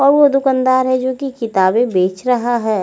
और वो दूकान है जो की किताबे बेच रहा है।